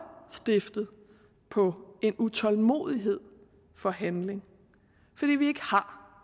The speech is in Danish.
stiftet på en utålmodighed for handling fordi vi ikke har